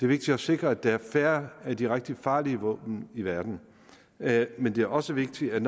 vigtigt at sikre at der er færre af de rigtig farlige våben i verden men det er også vigtigt at